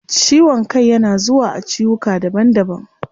Ciwon kai yana zuwa a ciwuka daban daban